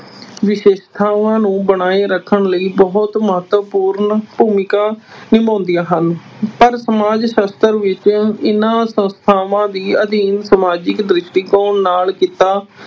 ਵਿਸ਼ੇਸ਼ਤਾਵਾਂ ਨੂੰ ਬਣਾਏ ਰੱਖਣ ਲਈ ਬਹੁਤ ਮਹੱਤਵਪੂਰਨ ਭੂਮਿਕਾ ਨਿਭਾਉਂਦੀਆਂ ਹਨ। ਪਰ ਸਮਜ ਸਾਸ਼ਤਰ ਵਿੱਚ ਇਨ੍ਹਾਂ ਸੰਸਥਾਵਾਂ ਦਾ ਅਧਿਐਨ ਸਮਾਜਿਕ ਦ੍ਰਿਸ਼ਟੀਕੋਣ ਨਾਲ ਕੀਤਾ